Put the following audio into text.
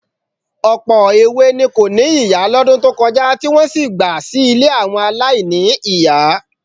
Ọ̀pọ̀ èwe ni kò ní ìyá lọ́dún tó kọjá tí wọ́n sì gba sí ilé àwọn aláìní-ìyá. ,=